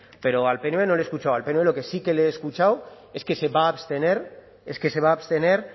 pero al pnv no le he escuchado al pnv lo que sí que le he escuchado es que se va a abstener es que se va a abstener